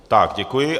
Tak děkuji.